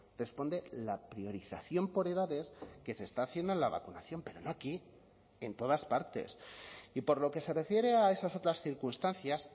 responde la priorización por edades que se está haciendo en la vacunación pero no aquí en todas partes y por lo que se refiere a esas otras circunstancias